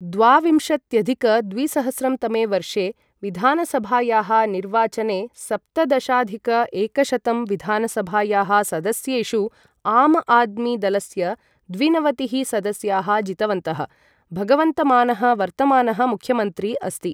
द्वाविंशत्यधिक द्विसहस्रं तमे वर्षे विधानसभायाः निर्वाचने सप्तदशाधिक एकशतं विधानसभायाः सदस्येषु, आम आदमी दलस्य द्विनवतिः सदस्याः जितवन्तः, भगवन्तमानः वर्तमानः मुख्यमन्त्री अस्ति।